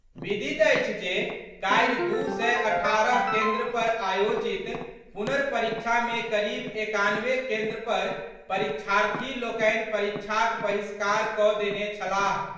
विदित अछि जे काल्हि दू सय अठारह केन्द्र पर आयोजित पुनर्परीक्षा मे करीब एकानवे केन्द्र पर परीक्षार्थी लोकनि परीक्षाक बहिष्कार कऽ देने छलाह।